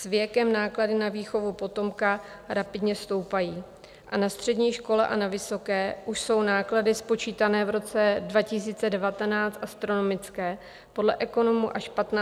S věkem náklady na výchovu potomka rapidně stoupají a na střední škole a na vysoké už jsou náklady spočítané v roce 2019 astronomické, podle ekonomů až 15 000 měsíčně.